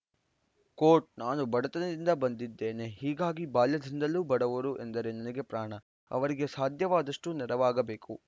coat ನಾನು ಬಡತನದಿಂದ ಬಂದಿದ್ದೇನೆ ಹೀಗಾಗಿ ಬಾಲ್ಯದಿಂದಲೂ ಬಡವರು ಎಂದರೆ ನನಗೆ ಪ್ರಾಣ ಅವರಿಗೆ ಸಾಧ್ಯವಾದಷ್ಟುನೆರವಾಗಬೇಕು